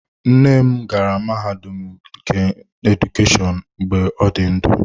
Nne m gara mahadum nke Edukeshọn mgbe ọ dị ndụ.